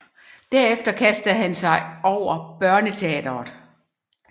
Derefter kastede han sig over børneteatret